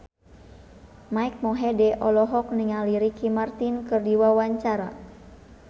Mike Mohede olohok ningali Ricky Martin keur diwawancara